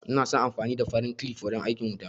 Ina son amfani da farin kilif wajen aikin wuta